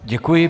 Děkuji.